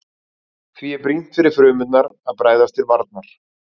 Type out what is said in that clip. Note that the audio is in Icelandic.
Því er brýnt fyrir frumurnar að bregðast til varnar.